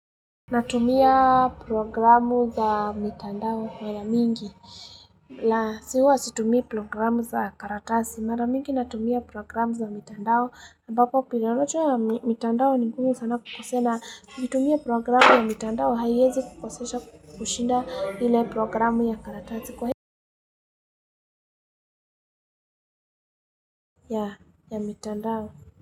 Natumia programu za mitandao mara mingi. Laa si huwa situmii programu za karatasi. Mara mingi natumia programu za mitandao. Ambapo programu ya mitandao ni ngumu sana kukosea na. Ukitumia programu ya mitandao haiwezi kukosesha kushinda ile programu ya karatasi kwahivyo ya mitandao.